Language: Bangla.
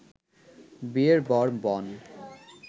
বিয়ের বর বন